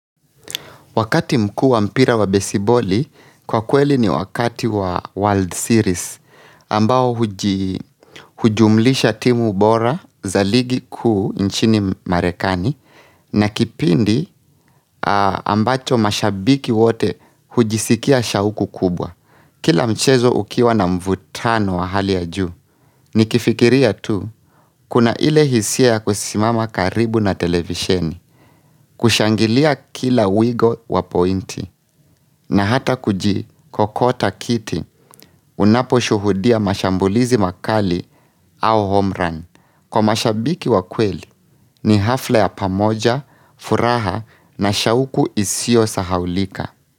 Wakati mkuu wa mpira wa besiboli, kwa kweli ni wakati wa World Series, ambao hujumlisha timu bora za ligi kuu nchini marekani, na kipindi ambacho mashabiki wote hujisikia shauku kubwa. Kila mchezo ukiwa na mvutano wa hali ya juu, nikifikiria tu, kuna ile hisia ya kusimama karibu na televisheni, kushangilia kila wigo wa pointi, na hata kujikokota kiti, unapo shuhudia mashambulizi makali au homerun. Kwa mashabiki wa kweli, ni hafla ya pamoja, furaha na shauku isio sahaulika.